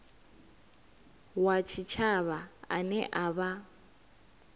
wa tshitshavha ane a vha